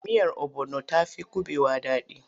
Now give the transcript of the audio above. Miyar obono ta fi kuɓewa daɗi.